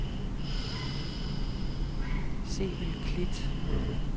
Sevel Klit